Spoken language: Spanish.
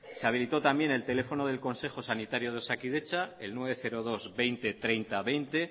se habilitó también el teléfono del consejo sanitario de osakidetza el novecientos dos punto veinte punto treinta punto veinte